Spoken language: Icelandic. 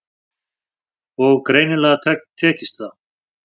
Og greinilega tekist það.